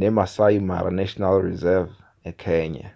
nemaasai mara national reserve ekenya